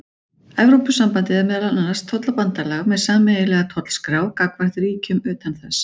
Evrópusambandið er meðal annars tollabandalag með sameiginlega tollskrá gagnvart ríkjum utan þess.